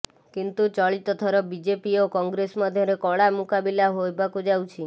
କିନ୍ତୁ ଚଳିତଥର ବିଜେପି ଓ କଂେଗ୍ରସ ମଧ୍ୟରେ କଡ଼ା ମୁକାବିଲା ହେବାକୁ ଯାଉଛି